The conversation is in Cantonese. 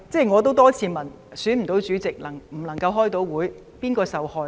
我也多次問，選不到主席，不能夠召開會議，究竟是誰受害？